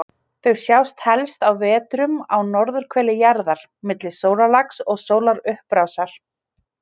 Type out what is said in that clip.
Því skipti hann í þrennt, ólivín-basalt, þóleiít og dílabasalt.